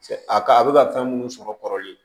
A ka a bɛ ka fɛn minnu sɔrɔ kɔrɔlen